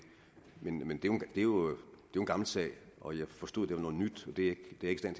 er jo en gammel sag og jeg forstod at det var noget nyt og det